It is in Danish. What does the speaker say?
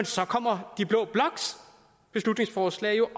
så kommer blå bloks beslutningsforslag jo